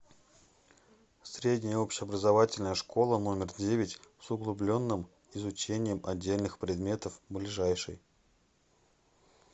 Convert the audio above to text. средняя общеобразовательная школа номер девять с углубленным изучением отдельных предметов ближайший